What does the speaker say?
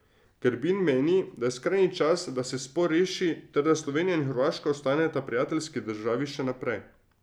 Grbin meni, da je skrajni čas, da se spor reši ter da Slovenija in Hrvaška ostaneta prijateljski državi še naprej.